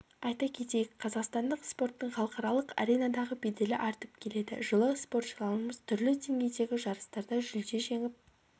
айта кетейік қазақстандық спорттың халықаралық аренадағы беделі артып келеді жылы спортшыларымыз түрлі деңгейдегі жарыстарда жүлде жеңіп